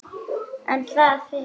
En það felur hana.